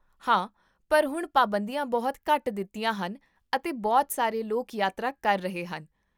ਹਾਂ, ਪਰ ਹੁਣ ਪਾਬੰਦੀਆਂ ਬਹੁਤ ਘੱਟ ਦਿੱਤੀਆਂ ਹਨ ਅਤੇ ਬਹੁਤ ਸਾਰੇ ਲੋਕ ਯਾਤਰਾ ਕਰ ਰਹੇ ਹਨ